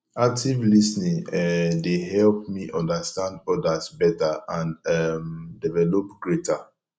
active lis ten ing um dey help me understand others beta and um develop greater